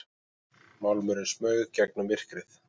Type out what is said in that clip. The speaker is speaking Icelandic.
Málmurinn smaug gegnum myrkrið.